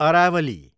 Aravalli